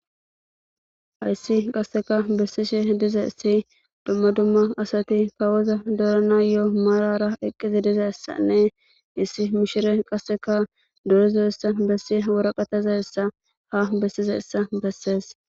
hayssi qasseka bessishe diza issi dumma dumma asati kawoza dorana yo7o marara eqqizi dizessanne issi mishire qasseka dorizoyssa bessi woraqataza essa ha bessizaessa bessees